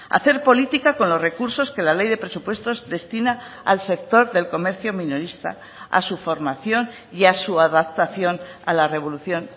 hacer política con los recursos que la ley de presupuestos destina al sector del comercio minorista a su formación y a su adaptación a la revolución